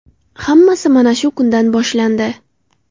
Hammasi mana shu kundan boshlandi.